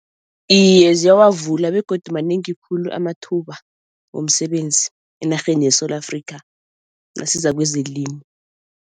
Iye ziyawavula begodu manengi khulu amathuba womsebenzi enarheni yeSewula Afrika nasiza kwezelimo.